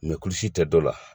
kulusi tɛ dɔ la